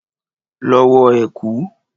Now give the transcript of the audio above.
Lọ wọ ẹ̀kú!